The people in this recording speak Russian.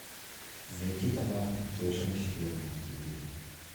найти канал совершенно секретно на телевизоре